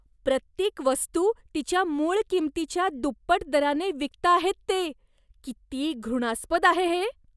प्रत्येक वस्तू तिच्या मूळ किंमतीच्या दुप्पट दराने विकताहेत ते. किती घृणास्पद आहे हे.